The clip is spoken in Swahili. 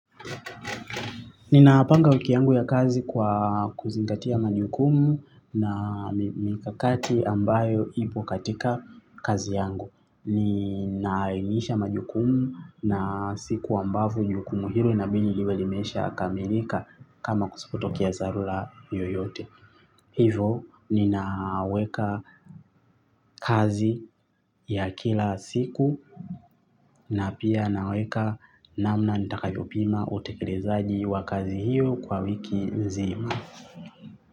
Ninapanga wiki yangu ya kazi kwa kuzingatia majukumu na mikakati ambayo ipo katika kazi yangu. Ninaimisha majukumu na siku ambapo jukumu hilo linabidi liwe limesha kamilika kama kusipotokea dharula yoyote. Hivo ninaweka kazi ya kila siku na pia naweka namna nitakayopima utekelezaji wa kazi hiyo kwa wiki nzima.